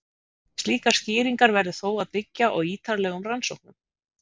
Slíkar skýringar verður þó að byggja á ítarlegum rannsóknum.